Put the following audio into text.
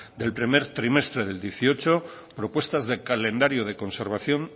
del primer trimestre del dos mil dieciocho propuestas de calendario de conservación